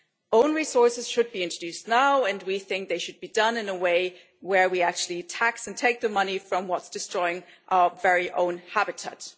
Own resources should be introduced now and we think they should be done in a way that enables us to actually tax and take the money from what is destroying our very own habitat.